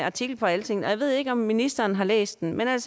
artikel på altingetdk ved ikke om ministeren har læst den men